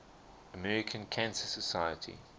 american cancer society